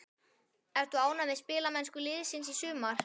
Ertu ánægð með spilamennsku liðsins í sumar?